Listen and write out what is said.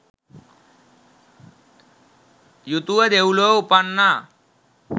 යුතුව දෙව්ලොව උපන්නා.